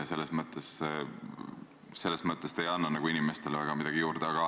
Selles mõttes te ei anna inimestele midagi juurde.